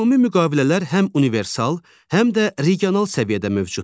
Ümumi müqavilələr həm universal, həm də regional səviyyədə mövcuddur.